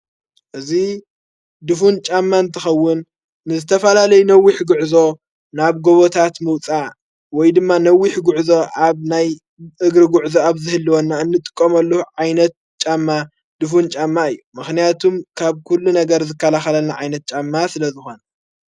እዙ ድፉን ጫማ እንተኸውን ንዝተፋላለይ ነዊኅ ግዕዞ ናብ ጐቦታት ምውፃእ ወይ ድማ ነዊኅ ጕዕዞ ኣብ ናይ እግሪ ጉዕዞ ኣብ ዘህልዎንና እንጥቆመሉ ዓይነት ጫማ ድፉን ጫማ እዩ ምኽንያቱም ካብ ኲሉ ነገር ዝካላኻለና ዓይነት ጫማ ስለ ዝኾን::